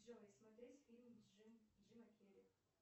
джой смотреть фильм джима керри